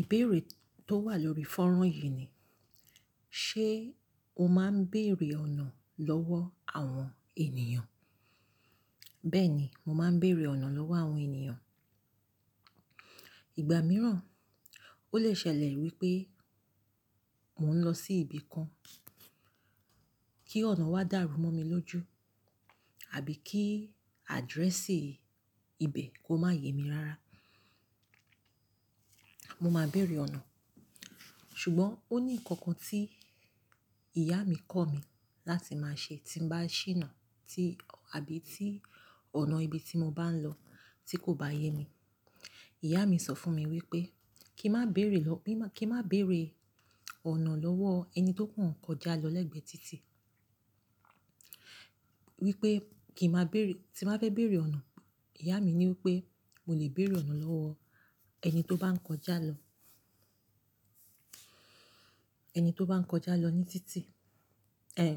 Ìbéèrè tó wà lórí fọ́rán yìí ni, ṣe o máa ń béèrè ọ̀nà lọ́wọ́ àwọn ènìyàn? Bẹ́ẹ̀ni, mo máa ń béèrè ọ̀nà lọ́wọ́ àwọn ènìyàn. Ìgbà mìíràn, ó lè ṣẹlẹ̀ wípé mò ń lọ sí ibi kan, kí ọ̀nà wá dàrú mọ́ mi lójú, àbí kí àdírẹ́sì ibẹ̀ kó má yẹ mí rara. Mo máa béèrè ọ̀nà. Ṣùgbọ́n ó ní nǹkan kan tí ìyá mi kọ̀ mí láti máa ṣe tí ń bá ṣìnà tí àbí tí ọ̀nà ibi tí mo bá ń lọ tí kò bá yẹ mí. Ìyá mi sọ fún mi wípé kí n má béèrè lọ́-- kí má, kí n má béèrè ọ̀nà lọ́wọ́ ẹni tó kàn kọjá lọ lẹ́gbẹ̀ẹ́ títì. Wípé kì í má béèrè-- tí má fẹ́ béèrè ọ̀nà, ìyá mi ní wípé mo lè béèrè ọ̀nà lọ́wọ́ ẹni tó bá ń kọjá lọ. Ẹni tó bá ń kọjá lọ ní títì. Ẹ̀h,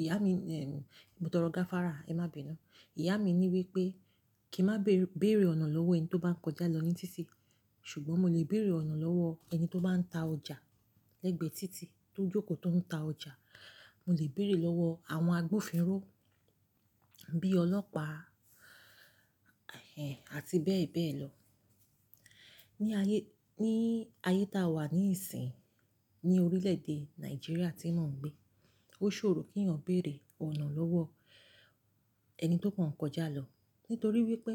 ìyá mi, ẹ̀, mo tọrọ ga fára, ẹ má bínu. Ìyá mi ní wípé kí n má bèèrè ọ̀nà lọ́wọ́ ẹni tó bá ń kọjá lọ ní títì. Ṣùgbọ́n mo lè béèrè ọ̀nà lọ́wọ́ ẹni tó bá ń ta ọjà lẹ́gbẹ̀ẹ́ títì, tó jókòó tó ń ta ọjà. Mo lè béèrè lọ́wọ́ àwọn agbófinró bíi ọlọ́pàá, ẹ̀, àti bẹ́ẹ̀ bẹ́ẹ̀ lọ. Ní ayé, ní ayé tá a wà níìsín, ní orílẹ̀ èdè Nàìjíríà tí mò ń gbé, ó ṣòro kí ènìyàn béèrè ọ̀nà lọ́wọ́ ẹni tó kàn kọjá lọ. Nítorí wípé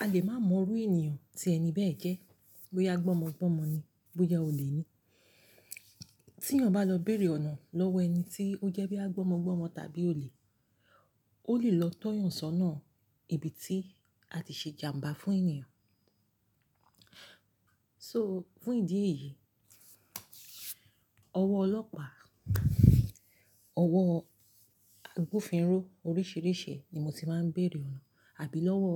a lè má mọrú ènìyàn tí ẹni bẹ́ẹ̀ jẹ́. Bóyá gbọ́mọgbọ́mọ ni, bóyá olè ni. Tí yàn bá lọ béèrè ọ̀nà lọ́wọ́ ẹni tí ó jẹ́ bí yà gbọ́mọgbọ́mọ tàbí olè, ó lè lọ tọ́yàn sọ́nà ibi tí a ti ṣe ìjàǹbá fún ènìyàn. So fún ìdí èyí, ọwọ́ ọlọ́pàá, ọwọ́ agbófinró oríṣìíríṣìí ni mo ti máa ń béèrè ọ̀nà. Àbí lọ́wọ́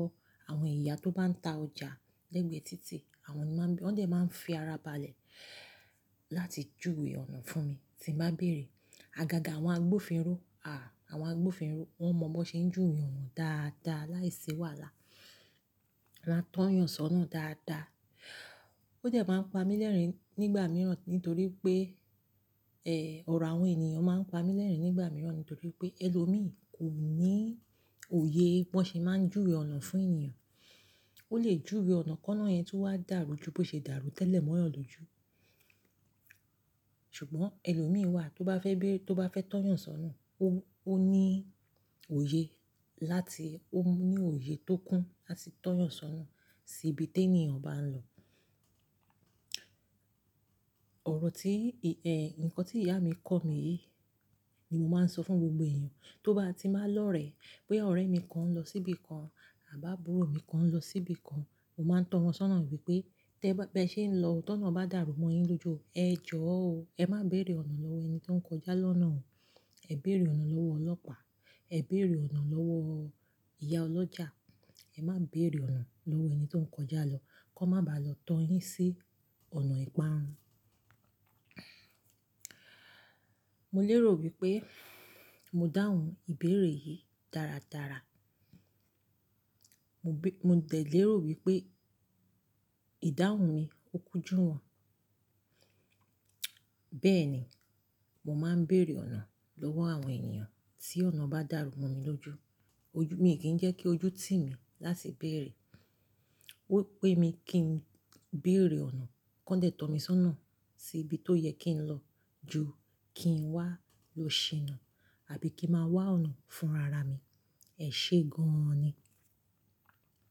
àwọn ìyá tó bá ń ta ọjà lẹ́gbẹ̀ẹ́ títì. Àwọn ní má ń bí-- wọ́n dẹ̀ máa ń fi ara balẹ̀ láti júwe ọ̀nà fún mi tí n bá béèrè. Àgàgà àwọn agbófinró, àà, àwọn agbófinró wọ́n mọ bọ ṣe ń júwe ọ̀nà dáadáa, láìsí wàhálà. Wọ́n á tọ́yàn sọ́nà dáadáa. Ó dẹ̀ máa ń pa mí lẹ́rìn-ín nígbà mìíràn nítorí pé, ẹ, ọ̀rọ̀ àwọn ènìyàn máa ń pa mí lẹ́rìn-ín nígbà mìíràn nítorí pé ẹlòmíì kò ní òye bí wọ́n ṣe má ń júwe ọ̀nà fún ènìyàn. Ó lè júwe ọ̀nà kọ́ náà yẹn tu n wá dàrú ju bó ṣe dàrú tẹ́lẹ̀ mọ́yàn lójú. Ṣùgbọ́n ẹlòmíì wà tó bá fẹ́ béèrè-- tó bá fẹ́ tọ́yàn sọ́nà, ó, ó ní òye láti-- ó ní òye tó kún láti tọ́yàn sọ́nà sí ibi tí ènìyàn bá ń lọ. Ọ̀rọ̀ tí, ì, ẹ, ǹkan tí ìyá mi kọ̀ mí yìí ni mo máa ń sọ fún gbogbo èèyàn tó bá ti má lọ̀rẹ́ pé ọ̀rẹ́ mi kan ń lọ síbi kan à bá bùrọ̀ mi kan ń lọ síbi kan. Mo máa ń tọ́ wọn sọ́nà wípé, "tẹ bá, bẹ́ ṣe ń lọ tọ̀nà bá dàrú mọ́ yín lójú, ẹ jọ̀ọ́ o, ẹ má béèrè ọ̀nà lọ́wọ́ ẹni tó ń kọjá lọ́nà o. Ẹ béèrè ọ̀nà lọ́wọ́ ọlọ́pàá, ẹ béèrè ọ̀nà lọ́wọ́ ìyá ọlọ́jà. Ẹ má béèrè ọ̀nà lọ́wọ́ ẹni tó ń kọjá lọ. Kọ́ má bá lọ tọ́ yín sí ọ̀nà ìparun." Mo lérò wípé mo dáhùn ìbéèrè yìí dáradára. Mo bí-- mo dẹ̀ lérò wípé ìdáhùn mi ó kúnjú wọn. Bẹ́ẹ̀ni, mo máa ń béèrè ọ̀nà lọ́wọ́ àwọn ènìyàn tí ọ̀nà bá dàrú mọ́ mi lójú. Ojú-- mi kì í jẹ́ kí ojú tì mí láti béèrè. Ó pé mi kí n béèrè ọ̀nà, kí wọ́n dẹ̀ mí sọ́nà sí ibi tó yẹ kí n lọ ju kí n wá lo ṣìnà àbí kí n má wá ọ̀nà fún rara mi. Ẹ̀ ṣe gan an ni?